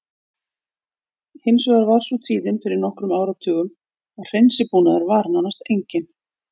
Hins vegar var sú tíðin fyrir nokkrum áratugum að hreinsibúnaður var nánast enginn.